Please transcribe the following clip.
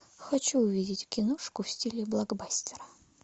хочу увидеть киношку в стиле блокбастера